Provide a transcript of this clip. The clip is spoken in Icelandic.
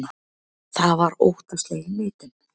Það var óttaslegin neitun.